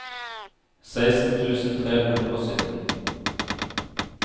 seksten tusen tre hundre og sytten